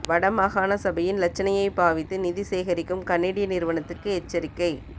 வட மாகாண சபையின் இலச்சினையை பாவித்து நிதி சேகரிக்கும் கனேடிய நிறுவனத்துக்கு எச்சரிக்கை